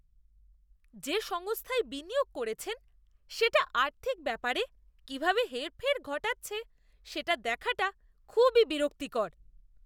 যে সংস্থায় বিনিয়োগ করেছেন, সেটি আর্থিক ব্যাপারে কীভাবে হেরফের ঘটাচ্ছে সেটা দেখাটা খুবই বিরক্তিকর।